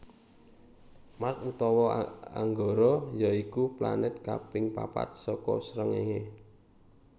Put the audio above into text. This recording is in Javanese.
Mars utawa Anggara ya iku planèt kaping papat saka srengéngé